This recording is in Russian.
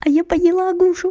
а я поняла агушу